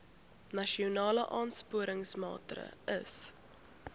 nasionale aansporingsmaatre ls